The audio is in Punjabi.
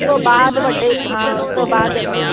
ਉਸ ਤੋਂ ਬਾਅਦ ਵੱਡੇ ਹਾਂ ਉਸ ਤੋਂ ਬਾਅਦ